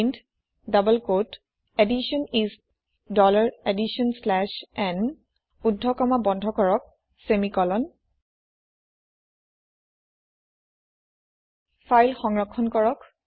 print double কোঁৱতে edition is dollar edition slash n ঊৰ্ধ comma বন্ধ কৰক ছেমিকলন ফাইল সংৰক্ষণ কৰক